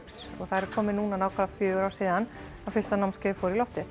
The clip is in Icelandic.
það eru komin núna fimm ár síðan fyrsta námskeiðið fór í loftið